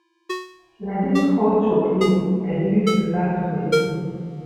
Na dis hot chocolate I dey use relax for evening.